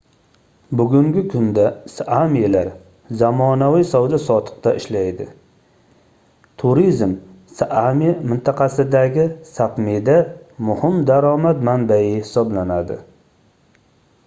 bugungi kunda saamilar zamonaviy savdo-sotiqda ishlaydi turizm saami mintaqasidagi sapmida muhim daromad manbai hisoblanadi